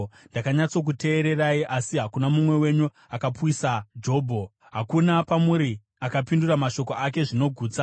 ndakanyatsokuteererai. Asi hakuna mumwe wenyu akapwisa Jobho; hakuna pamuri akapindura mashoko ake zvinogutsa.